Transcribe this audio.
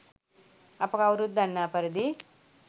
අප කවුරුත් දන්නා පරිදි